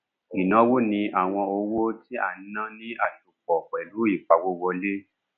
ìnáwó ni àwọn owó tí a ná ní àsopọ pẹlú ìpawówọlé